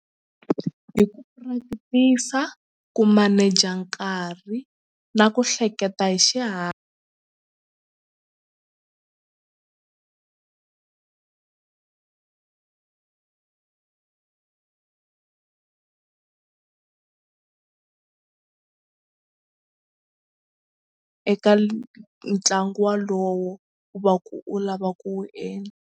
Hi ku practice a ku maneja nkarhi na ku hleketa hi eka ntlangu walowo u va ku u lava ku wu endla.